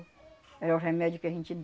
Era o remédio que a gente